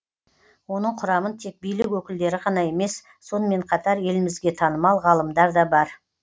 оның құрамын тек билік өкілдері ғана емес сонымен қатар елімізге танымал ғалымдар да бар